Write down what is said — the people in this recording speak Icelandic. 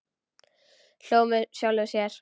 Hló með sjálfum sér.